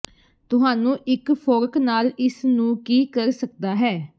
ਤੁਹਾਨੂੰ ਇਕ ਫੋਰਕ ਨਾਲ ਇਸ ਨੂੰ ਕੀ ਕਰ ਸਕਦਾ ਹੈ